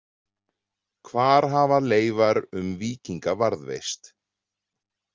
Hvar hafa leifar um víkinga varðveist?